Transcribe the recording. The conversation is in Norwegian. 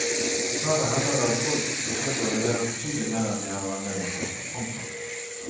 Dessverre hender det at folk forsøker å levere betydelig mer enn de har anledning til. punktum